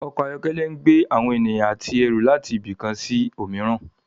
Ọkọ̀ ayọ́kẹ́lẹ́ ń gbé àwọn ènìyàn àti ẹrù láti ibì kan sí òmíràn